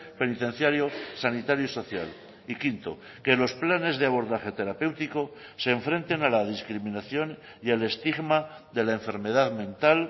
penitenciario sanitario y social y quinto que los planes de abordaje terapéutico se enfrenten a la discriminación y al estigma de la enfermedad mental